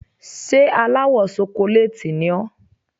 Ṣé aláwọ̀ ṣokolééètì ni ẹ́?